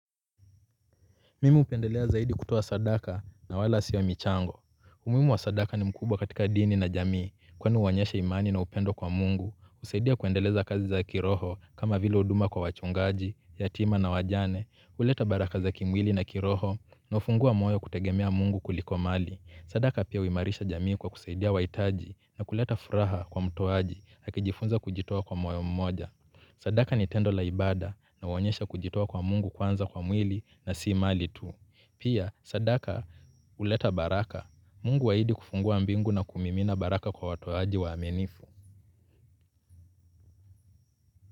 Mimu hupendelea zaidi kutoa sadaka na wala sio michango. Umuhimu wa sadaka ni mkubwa katika dini na jamii kweni huonyesha imani na upendo kwa mungu. Husaidia kuendeleza kazi za kiroho kama vile huduma kwa wachungaji, yatima na wajane. Huleta baraka za kimwili na kiroho na hufungua moyo kutegemea mungu kuliko mali. Sadaka pia huimarisha jamii kwa kusaidia wahitaji na kuleta furaha kwa mtoaji akijifunza kujitoa kwa moyo mmoja. Sadaka ni tendo la ibada na huonyesha kujitoa kwa mungu kwanza kwa mwili na si mali tu. Pia sadaka huleta baraka Mungu aahidi kufungua mbingu na kumimina baraka kwa watoaji waaminifu.